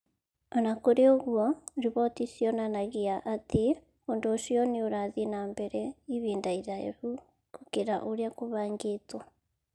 O na kũrĩ ũguo, riboti cionanagia atĩ ũndũ ũcio nĩ ũrathiĩ na mbere ihinda iraihu gũkĩra ũrĩa kũbangĩtwo.